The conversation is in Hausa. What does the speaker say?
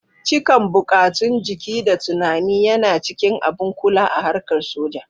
Cikan buƙatun jiki da tunani yana cikin abun kula a harka soja